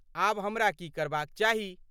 आब हमरा की करबाक चाही?